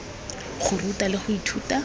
go ruta le go ithuta